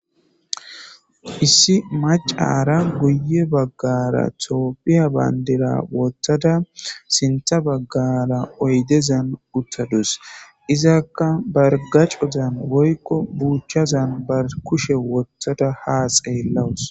Issi macara guye baggara toophiya bandira wottada sintha baggara oydezan uttadus izakka bargacozan woykko buuchchazan bar kushe wottada haa xeellawus.